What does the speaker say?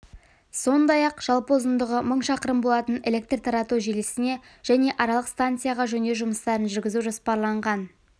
сондай-ақ жалпы ұзындығы мың шақырым болатын электр тарату желісіне және аралық станцияға жөндеу жұмыстарын жүргізу жоспарланған